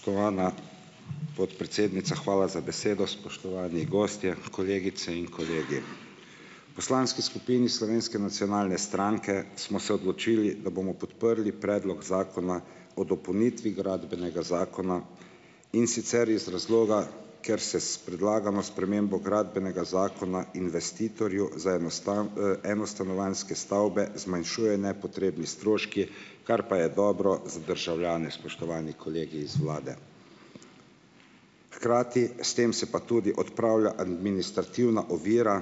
Spoštovana podpredsednica, hvala za besedo. Spoštovani gostje, kolegice in kolegi! Poslanski skupini Slovenske nacionalne stranke smo se odločili, da bomo podprli Predlog zakona o dopolnitvi Gradbenega zakona, in sicer iz razloga, ker se s predlagano spremembo Gradbenega zakona investitorju za eno enostanovanjske stavbe zmanjšujejo nepotrebni stroški, kar pa je dobro za državljane, spoštovani kolegi iz vlade. Hkrati s tem se pa tudi odpravlja administrativna ovira